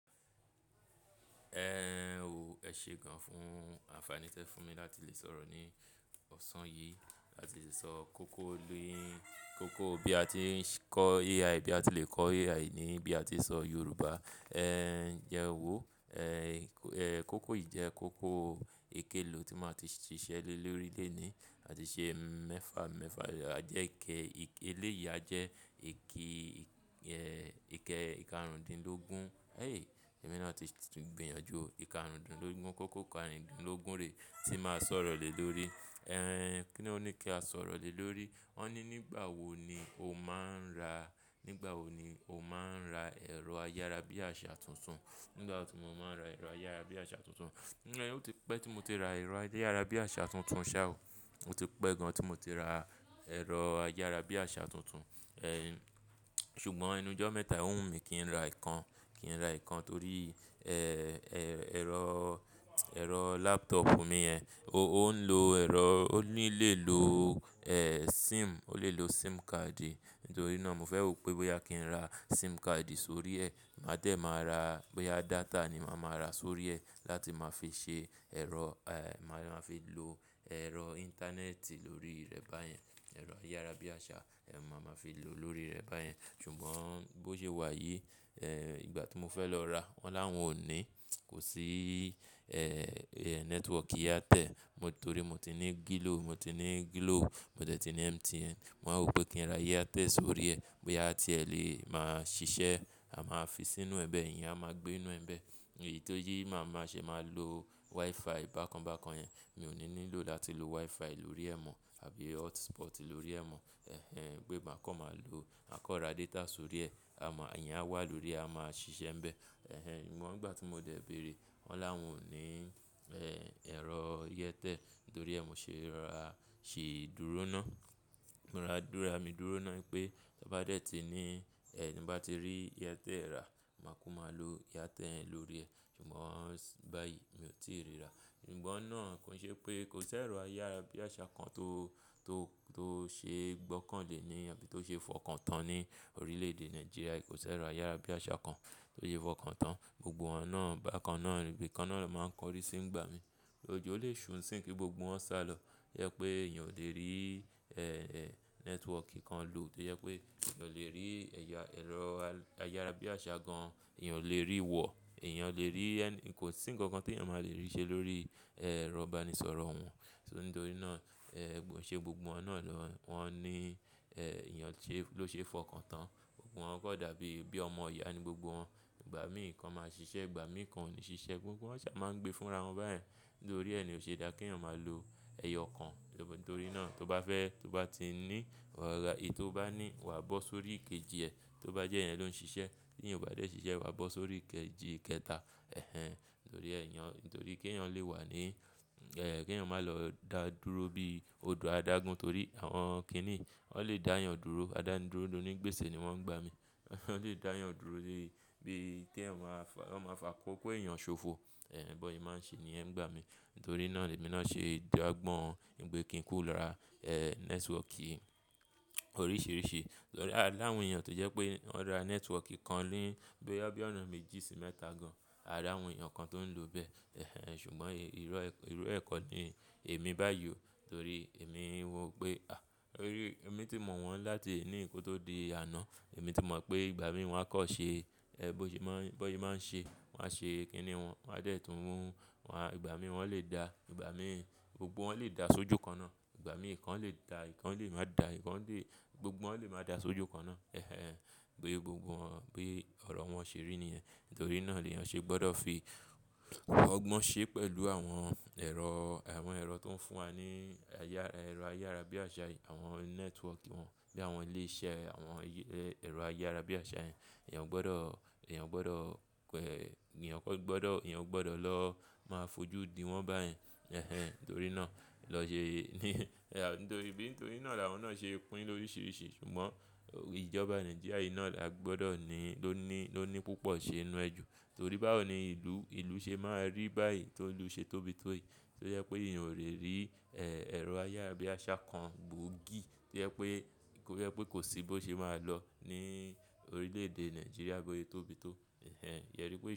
Ẹ n o, ẹ ṣé gan fún, ànfàní tẹ fún mi láti lè sọ̀rọ̀ ní ọ̀sán yìí, láti lè sọ kókó léhìn, kókó bí a ti ń kọ AI, bí a ti lè kọ AI níbí a ti ń sọ Yorùbá. Ẹ n jẹ wọ́, ẹ́ kókó yìí jẹ́ kókó eke lo tí máa ti ṣiṣẹ́ lé lórí lẹ̀ ni. A ti ṣe mẹ́fà mẹ́fà, àjẹ́ ike, eléyìí a jẹ́ ike ìkarùndínlógún. Héhè! Èmi náà ti gbìyànjú ike àrùndínlógún, kókó àrùndínlógún rèé tí máa sọ̀rọ̀ lè lórí. Ẹ n kí ni ó ní kí a sọ̀rọ̀ lè lórí? Won ní nígbà wo ni o máa ń ra, nígbà wo ni o máa ń ra ẹ̀rọ ayára bí àṣá tuntun. Nígbà tí mo máa ń ra ẹ̀rọ ayára bí àṣá tuntun. Ẹ ó ti pẹ́ tí mo ti ra ẹ̀rọ ayára bí àṣá tuntun saa o. Ó ti pẹ́ gan tí mo ti ra ẹ̀rọ ayára bí àṣá tuntun. Ẹ n ṣùgbọ́n enú ọjọ́ mẹ́ta ò wù mí kí n ra ìkan, kí n ra ìkan torí ẹ́ ẹ̀rọ, ẹ̀rọ laptop mi yẹn, ó ń lo ẹ̀rọ, ó ní lè lo ẹ́ SIM, ó lè lo SIM card. Nítorí náà mo fẹ́ wò pé bóyá kí n ra SIM card sórí ẹ́, máa tẹ máa ra, bóyá data ni màá máa ra sórí ẹ́ láti máa fi ṣe ẹ̀rọ ẹ́ máa fi lò ẹ̀rọ íńtánẹ́ẹ̀tì lórí rẹ̀ báyẹn. Ẹ̀rọ ayára bí àṣá, ẹ́ màá máa fi lò lórí rẹ̀ báyẹn. Ṣùgbọ́n bó ṣe wà yìí, ẹ́ ìgbà tí mo fẹ́ lọ ra wọ́n láwọn ò ní. Kò sí ẹ́ network yátẹ̀. Torí mo ti ní Gló, mo ti ní Glò, mo tẹ́tí ní MTN. Mo wáa wò pé kí n ra áirtẹ̀l sórí ẹ́, bóyá tí ẹ lè máa ṣiṣẹ́, a máa fi sínú ẹbẹ̀ yẹn, a máa gbé inú ẹbẹ̀. Èyí tó yí máa máa ṣe máa lo WiFi bákan bákan yẹn. Mi ò ní nílò láti lo WiFi lórí ẹ̀ mọ́ àbí hotspot lórí ẹ̀ mọ́. Ẹ̀hẹn! Gbé máa kọ́ máa lo, máa kọ́ ra data sórí ẹ́. A máa, ẹ̀yàn á wà lórí, a máa ṣiṣẹ́ ń bẹ. Ẹ̀hẹn! Ṣùgbọ́n ìgbà tí mo dẹ bẹ̀rẹ̀, wọ́n láwọn ò ní ẹ́ ẹ̀rọ áirtẹ̀l. Nítorí ẹ́ mo ṣe ra, ṣe ìdúró náà. Mo ra dúra mi dúró náà wípé tí ó bá dẹ́ ti ní ẹ́ ní bá ti rí yátẹ̀ rà, màá kú màá lo yátẹ̀ yẹn lórí ẹ. Ṣùgbọ́n báyìí mi ò tí ì rí rà. Ṣùgbọ́n náà kò ṣe pé kò sí ẹ̀rọ ayára bí àṣá kan tó, tó, tó ṣe gbọ́kàn lé ní àbí tó ṣe fọkàn tán ní orílẹ̀ èdè Nàìjíríà. Kò sí ẹ̀rọ ayára bí àṣá kan tó ṣe fọkàn tán. Gbogbo wọn náà bákan náà, ibìkan náà ló máa ń kọrí sí ń gbá mi. Ójo o le ṣù n si kí gbogbo wọn sá lọ. Yẹ pé èèyàn ò lè rí ẹ́ network kan lò tó jẹ pé èèyàn ò lè rí ẹ̀ya ẹ̀rọ ayára bí àṣá gan, èèyàn ò lè rí wọ̀. Èèyàn ò lè rí ẹ́ ní kò sí nǹkan kan tí èèyàn máa le rí ṣe lórí ẹ́rọ̀ iba ní sọ̀rọ̀ wọn. Ṣó ní torí náà ẹ́ kò ṣe gbogbo wọn náà lọ, wọ́n ní ẹ́ èèyàn ṣe ló ṣe fọkàn tán. Gbogbo wọn kọ̀ dàbí bí ọmọ Ìyá ni gbogbo wọn. Ìgbà mí ìkan máa ṣiṣẹ́, ìgbà mí ìkan ò ní ṣiṣẹ́. Gbogbo wọn ṣà máa ń gbe fúnra wọn báyẹn. Nítorí ẹ́ ni ò ṣe dá kí èèyàn máa lo ẹyọ kan. Nítorí náà tó bá fẹ́, tó bá ti ní ọ̀gá, èyí tó bá ní wà bó sórí kejì ẹ. Tó bá jẹ́ i ẹ́ ló ń ṣiṣẹ́, tí ìyẹn ò bá dé ṣiṣẹ́ wà bó sórí kejì kẹta. Ẹ̀hẹn! Nítorí ẹ́ èèyàn, nítorí kí èèyàn lè wà ní ẹ́ kí èèyàn má lọ dà dúró bí odò adágún. Torí àwọn kí ni, wọ́n lè dá èèyàn dúró. Ada n dúró ló ní gbèsè ni wọ́n ń gbá mi. Wọ́n lè dá èèyàn dúró lé bí kí èèyàn máa fà, wọ́n máa fà kókó èèyàn ṣòfò. Ẹ̀hẹn! Bóse è máa ń ṣe ni ẹ́ ń gbà mí. Nítorí náà ni èmi náà ṣe dàgbọ́n. Nípè ẹ́ kí n kúro lara ẹ́ network oríṣiríṣi. Lọ ra láwọn èèyàn tó jẹ́ pé wọ́n ra network kan léhìn bóyá bí ọ̀nà méjì sí mẹ́ta gan. A rí àwọn èèyàn kan tó ń lò bẹ́ẹ̀. Ẹ̀hẹn! Ṣùgbọ́n ìró, ìró ẹ̀kọ́ ni èmi báyìí o. Torí èmi wò pé a, torí èmi tí mọ̀ wọ́n láti ení ìkótó di àná. Èmi ti mọ̀ pé ìgbà mí wọ́n á kọ́ ṣe ẹ́ bósè máa ń ṣe, wọ́n á ṣe kí ni wọn. Wọ́n á dẹ̀ tún wọ́n. Wọ́n a, ìgbà mí wọ́n lè dà. Ìgbà mí gbogbo wọn lè dà sójú kan náà. Ìgbà mí ìkan lè dà, ìkan lè má dà, ìkan lè gbogbo wọn lè má dà sójú kan náà. Ẹ̀hẹn! Bí gbogbo wọn, bí ọ̀rọ̀ wọn ṣe rí ni ẹ́. Nítorí náà ni èèyàn ṣe gbọ́dọ̀ fi ọgbọ́n ṣe pẹ̀lú àwọn ẹ̀rọ, àwọn ẹ̀rọ tó ń fún wa ní ayára, ẹ̀rọ ayára bí àṣá, àwọn network wọn bí àwọn lè ṣe àwọn ẹ́ ẹ̀rọ ayára bí àṣá yẹn. Ẹ̀yàn gbọ́dọ̀, èèyàn gbọ́dọ̀ pẹ́, èèyàn kọ́ gbọ́dọ̀, èèyàn gbọ́dọ̀ lọ máa fojú diwọ́n báyẹn. Ẹ̀hẹn! Torí náà lọ ṣe ní, nítorí bí nítorí náà làwọn náà ṣe pín ló ríṣiríṣi. Ṣùgbọ́n ìjọba Nàìjíríà yìí náà la gbọ́dọ̀ ni ló ní, ló ní púpọ̀ ṣe inú ẹjù. Torí báwo ni ìlú, ìlú ṣe máa rí báyìí tó ìlú ṣe tóbi tó yìí. Torí ẹ́ pé èèyàn ò lè rí ẹ́ ẹ̀rọ ayára bí àṣá kan gbóògì. Torí jẹ́ pé kò, torí ẹ́ pé kò sí bóṣe máa lọ ní orílẹ̀ èdè Nàìjíríà bósé tóbi tó. Ẹ̀hẹn! Yẹrí pé.